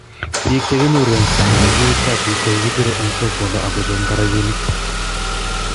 biik che kinyoru eng' sang' ya kikiut kafyuit ko kibirei eng' sokonwo aku cheng'da robinik